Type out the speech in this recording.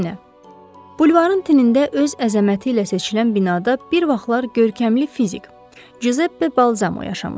Bulvarın tinində öz əzəməti ilə seçilən binada bir vaxtlar görkəmli fizik Cüzeppe Balzamo yaşamışdı.